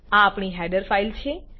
આ આપણી header file છે